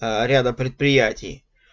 ряда предприятий